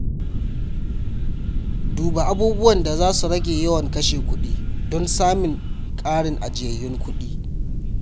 Duba abubuwan da za su rage yawan kashe kuɗi don samin ƙarin ajiyayyun kuɗi.